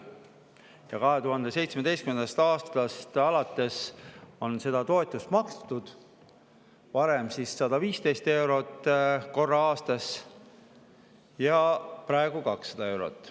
Ja 2017. aastast alates on seda toetust makstud korra aastas, varem 115 eurot ja praegu 200 eurot.